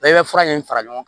Bɛɛ bɛ fura in fara ɲɔgɔn kan